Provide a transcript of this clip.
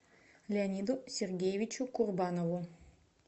леониду сергеевичу курбанову